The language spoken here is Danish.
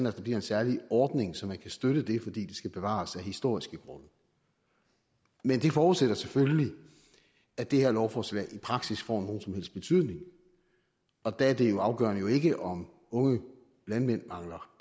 at der bliver en særlig ordning så man kan støtte det fordi det skal bevares af historiske grunde men det forudsætter selvfølgelig at det her lovforslag i praksis får nogen som helst betydning og der er det afgørende jo ikke om unge landmænd mangler